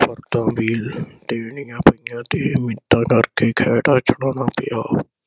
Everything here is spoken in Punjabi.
ਫਰਦਾਂ ਵੀ ਦੇਣੀਆ ਪਈਆ ਤੇ ਮਿੰਨਤਾਂ ਕਰਕੇ ਖਹਿੜਾ ਛੁਡਾਉਣਾ ਪਿਆ।